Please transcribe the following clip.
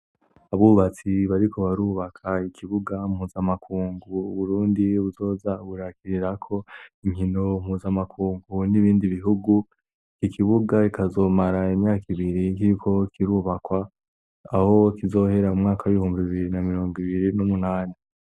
Abubatsi bariko barubaka ikibuga mpuzamakungu uburundi buzoza burakirirako inkino mpuzamakungu n'ibindi bihugu. ikibuga kikazomara imyaka ibiri kiriko kirubakwa aho kizohera m'umwaka w'ihumba bibiri na mirongo ibiri n'umunani.